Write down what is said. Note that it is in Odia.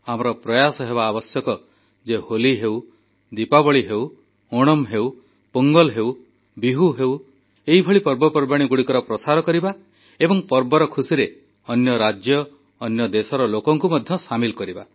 ଆମର ପ୍ରୟାସ ହେବା ଆବଶ୍ୟକ ଯେ ହୋଲି ହେଉ ଦୀପାବଳି ହେଉ ଓଣମ୍ ହେଉ ପୋଙ୍ଗଲ୍ ହେଉ ବିହୁ ହେଉ ଏଭଳି ପର୍ବପର୍ବାଣୀଗୁଡ଼ିକର ପ୍ରସାର କରିବା ଏବଂ ପର୍ବର ଖୁସିରେ ଅନ୍ୟ ରାଜ୍ୟ ଅନ୍ୟ ଦେଶର ଲୋକଙ୍କୁ ମଧ୍ୟ ସାମିଲ୍ କରିବା